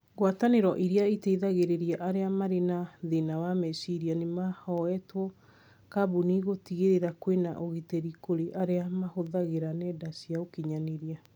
Ngwataniro ĩrĩa ĩteithagĩrĩria arĩa marĩ na thĩna wa meciria nimahoete kambuni gũtigĩrĩra kwĩna ũgitĩrĩ kũrĩ aria mahũthĩrĩga nenda cia ũkinyanĩria